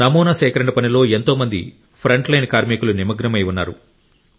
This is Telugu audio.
నమూనా సేకరణ పనిలో ఎంతోమంది ఫ్రంట్లైన్ కార్మికులు నిమగ్నమై ఉన్నారు